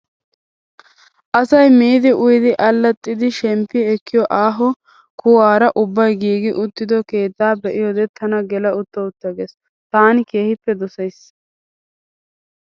Asayi miiddi uyiddi allaaxxiddi shemppi ekkiyoo aaho kuwaara ubbayi giigi uttido keettaa be''iyoode tana gela uttaa uttaa ges. taani keehippe dosayisi.